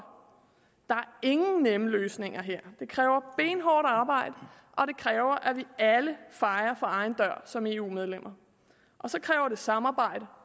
der ingen nemme løsninger her det kræver benhårdt arbejde og det kræver at vi alle fejer for egen dør som eu medlemmer og så kræver det samarbejde